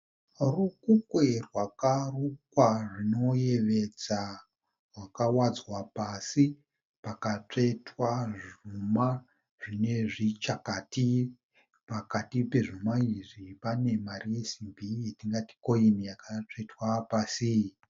Rukukwe rwakarukwa zvinoyevedza rwawadzwa pasi pakatsvetwa zvuma zvinezvichakati. Pakati pezvuma izvi pane mari yesimbi yatingati koini akatsvetwa pasi.